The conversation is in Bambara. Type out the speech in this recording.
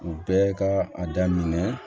U bɛɛ ka a daminɛ